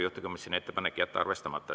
Juhtivkomisjoni ettepanek on jätta arvestamata.